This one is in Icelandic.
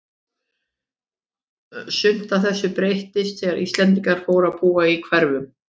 Sumt af þessu breyttist þegar Íslendingar fóru að búa í hverfunum.